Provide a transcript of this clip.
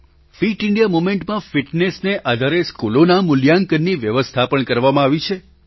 fit India મૂવમેન્ટમાં ફિટનેસને આધારે સ્કૂલોના મૂલ્યાંકનની વ્યવસ્થા પણ કરવામાં આવી છે